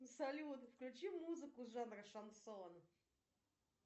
салют включи музыку жанра шансон